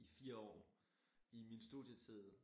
I 4 år i min studietid